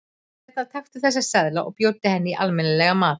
Hérna, taktu þessa seðla og bjóddu henni í almenni- legan mat.